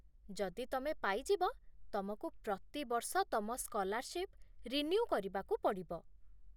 ଯଦି ତମେ ପାଇଯିବ, ତମକୁ ପ୍ରତିବର୍ଷ ତମ ସ୍କଲାର୍ସିପ ରିନ୍ୟୁ କରିବାକୁ ପଡ଼ିବ